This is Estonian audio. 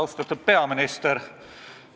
Austatud peaminister!